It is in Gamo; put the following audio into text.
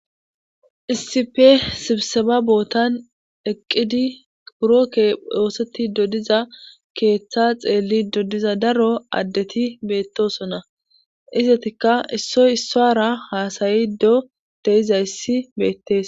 issipe sibsema bootan eqqidi purokke dooseti dodiza keeththa xeelli dodiza daro addeti beettosona izatikka issoy issara haasayi do deizayssi beettes